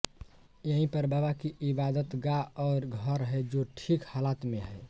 यही पर बाबा की इबादतगाह और घर है जो ठीक हालात में है